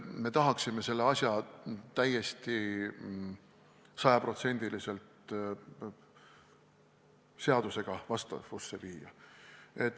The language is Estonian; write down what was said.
Me tahaksime selle asja täiesti sajaprotsendiliselt seadusega vastavusse viia.